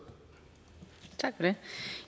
det